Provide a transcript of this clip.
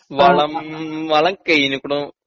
വളം വളം കയിനീക്കുണു